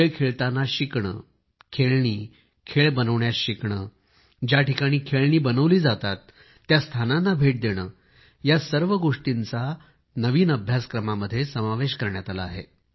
खेळखेळताना शिकणे खेळणीखेळ बनविण्यास शिकणे ज्या ठिकाणी खेळणी बनवली जातात त्या स्थानांना भेट देणे या सर्व गोष्टींचा अभ्यासक्रमामध्ये समावेश करण्यात आला आहे